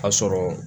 A sɔrɔ